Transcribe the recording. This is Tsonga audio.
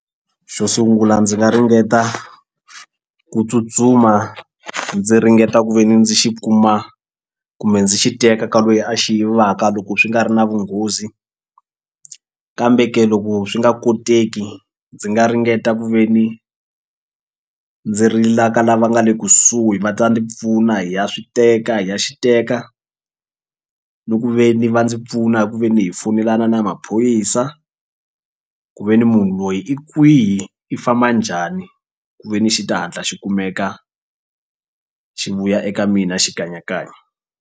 Xo sungula ndzi nga ringeta ku tsutsuma ndzi ringeta ku ve ni ndzi xi kuma kumbe ndzi xi teka ka lweyi a xi yivaka loko swi nga ri na vunghozi kambe ke loko swi nga koteki ndzi nga ringeta ku ve ni ndzi rila ka lava nga le kusuhi va ta ndzi pfuna hi ya swi teka hi ya xi teka ni ku ve ni va ndzi pfuna hi ku ve ni hi foyinelana na maphorisa i ku ve ni munhu loyi i kwihi i famba njhani ku ve ni xi ta hatla xi kumeka xi vuya eka mina xikanyakanya.